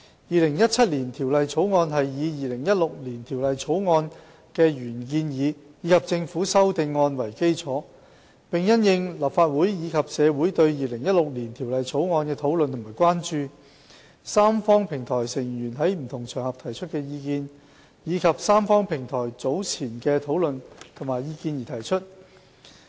《2017年條例草案》是以《2016年條例草案》的原建議及政府修正案為基礎，並因應立法會及社會對《2016年條例草案》的討論和關注、三方平台成員在不同場合提出的意見，以及三方平台早前的討論及意見而提出。